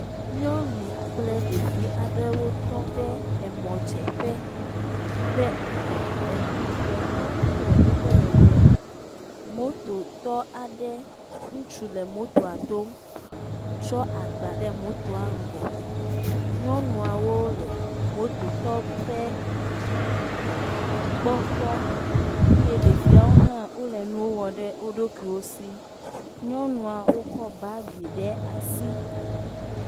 Nyɔnu kple ɖevi aɖewo tɔ ɖe emɔdzeƒe ƒe ŋgɔ. Eŋu gbemu aɖe le woƒe megbe. Mototɔ aɖe ŋutsu le motota dom tsɔ agba ɖe motoa ŋgɔ. Nyɔnuawo le mototɔ ƒe gbɔ kpɔ eye ɖeviawo hã wo le nuwo wɔm ɖe wo ɖokuiwo si. Nyɔnuawo kɔ bagi ɖe asi.